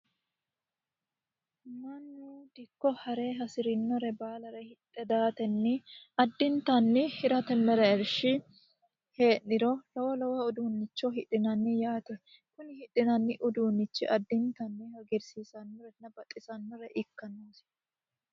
Dikko ha're hasireemmare baallanka hidhe daatenni hirate mereershi heeriro lowo lowo uduuncho hidhinanni yaate, hidhinanni uduunchi addittanni hagiirsiisanonna baxisanoha ikka noosi.